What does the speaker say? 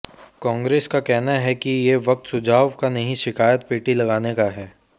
कांग्रेस का कहना है कि ये वक्त सुझाव का नहीं शिकायत पेटी लगाने का है